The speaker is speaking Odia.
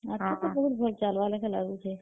ଆଗ୍ କୁ ବି ବହୁତ୍ ଭଲ୍ ଚାଲ୍ ବାର୍ ଲେଖେନ୍ ଲାଗୁଛେ।